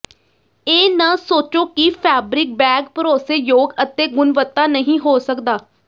ਇਹ ਨਾ ਸੋਚੋ ਕਿ ਫੈਬਰਿਕ ਬੈਗ ਭਰੋਸੇਯੋਗ ਅਤੇ ਗੁਣਵੱਤਾ ਨਹੀਂ ਹੋ ਸਕਦਾ